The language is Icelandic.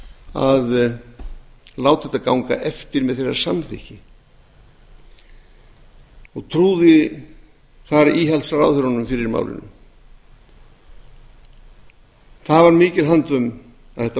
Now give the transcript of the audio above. að láta það ganga eftir með samþykki sínu og trúði þar íhaldsráðherrunum fyrir málinu það var mikil handvömm að það mál fór